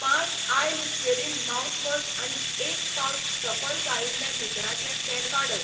पांच आय Listerine mouthwash आनी एक पाउच सफल गाळिल्लें भिकणाचें तेल वाडय.